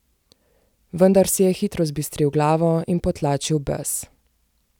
Vendar si je hitro zbistril glavo in potlačil bes.